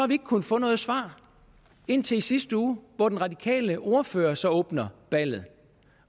ikke kunnet få noget svar indtil i sidste uge hvor den radikale ordfører så åbner ballet